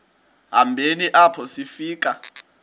hambeni apho sifika